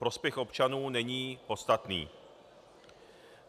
Prospěch občanů není podstatný.